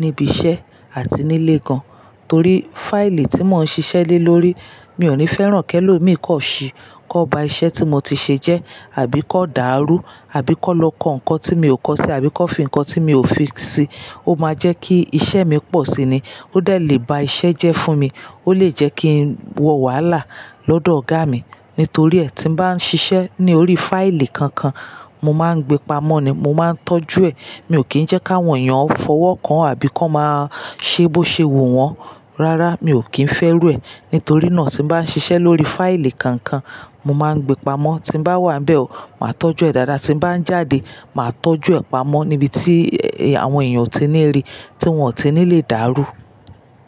níbi iṣẹ́ àti nílé gan, torí fáìlì tí mò ń ṣiṣẹ́ lé lórí mi ò ní fẹ́ràn kẹ́lò mí kan ṣi kan ba iṣẹ́ tí mo ti ṣe jẹ́ àbí kan dàrú àbí kan lọ kọ ǹkan tí mi ò kọ sí àbí kan fi ǹkan tí mi ò fi sí. Ó máa jẹ́ kí iṣẹ́ mi pọ̀ si ni. Ó de lè bá iṣẹ́ jẹ́ fún mi, ó lè jẹ́ kí n wọ wàhálà lọ́dọ̀ ọ̀gá mi. Nítorí ẹ́, tí bá ń ṣiṣẹ́ ní orí fáìlì kankan, mo máa ń gbe pamọ́ ni, mo máa ń tọ́jú ẹ. Mi ò kí ń jẹ́ ká wọ̀nyàn fọwọ́ kan àbí kan máa ṣe bó ṣe wù wọ́n. Rárá, mi ò kí ń fẹ́ rú ẹ. Nítorí náà tí bá ń ṣiṣẹ́ lórí fáìlì kankan, mo máa ń gbe pamọ́. Tí n bá wà níbẹ̀ o, màá tọ́jú ẹ dáadáa. Tí bá ń jáde, màá tọ́jú ẹ pamọ́ níbi tí àwọn èèyàn ò tí ní rí, tí wọ́n ò tí ní lè dàrú.